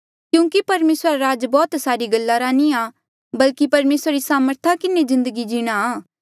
क्यूंकि परमेसरा रा राज बौह्त सारी गल्ला रा नी बल्कि परमेसरा री सामर्था किन्हें जिन्दगी जीणा